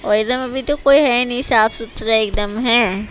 और एकदम अभी तो कोई है नहीं साफ सुथरा एकदम है।